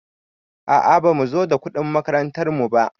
A a bamu zo da kuɗin makarantar mu ba.